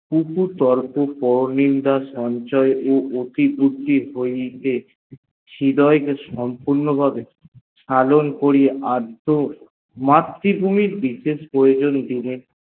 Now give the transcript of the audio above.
পরনিন্দা সমালোচনা ও অধিপতি হইতে হৃদয় কে সম্পূর ভাবে অদ্য মাতৃভূমি বিষয়ের করে প্রয়োজন দিনে